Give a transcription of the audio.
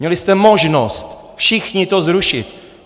Měli jste možnost všichni to zrušit.